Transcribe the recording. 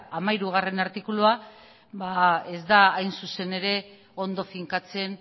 hamairugarrena artikulua ez da hain zuzen ere ondo finkatzen